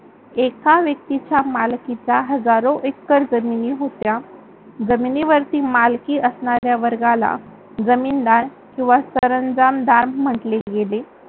एका व्यक्तीचा मालकीचा हजारो एकर जमिनी होत्या. जमिनीवरती मालकी असणाऱ्या वर्गाला जमीनदार किंवा सरंजामदार म्हटले गेले.